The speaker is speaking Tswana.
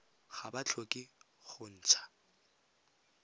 ga ba tlhoke go ntsha